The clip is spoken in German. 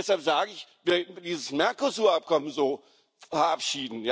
Deshalb sage ich, wenn man dieses Mercosur Abkommen so verabschiedet